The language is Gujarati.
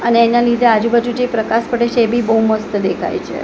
અને એના લીધે આજુબાજુ જે પ્રકાશ પડે છે એ બી બોવ મસ્ત દેખાય છે.